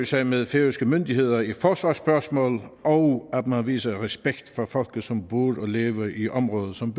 sig med færøske myndigheder i forsvarsspørgsmål og at man viser respekt for folket som bor og lever i området som